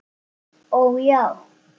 Ó já.